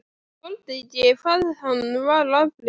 Þoldi ekki hvað hann var afbrýðisamur.